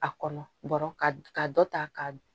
A kɔnɔ bɔrɔ ka dɔ ta ka